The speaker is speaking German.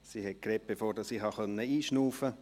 Sie sprach, bevor ich einatmen konnte.